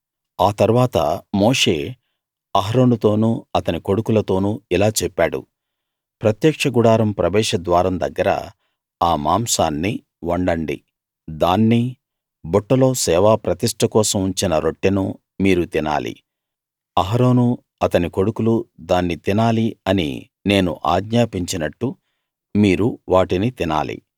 ఆ తరువాత మోషే అహరోనుతోనూ అతని కొడుకులతోనూ ఇలా చెప్పాడు ప్రత్యక్ష గుడారం ప్రవేశ ద్వారం దగ్గర ఆ మాంసాన్ని వండండి దాన్నీ బుట్టలో సేవా ప్రతిష్ట కోసం ఉంచిన రొట్టెనూ మీరు తినాలి అహరోనూ అతని కొడుకులూ దాన్ని తినాలి అని నేను ఆజ్ఞాపించినట్టు మీరు వాటిని తినాలి